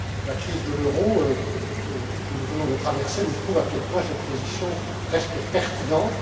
La crise de l'euro que nous venons de traverser nous prouve à quel point cette position reste pertinente.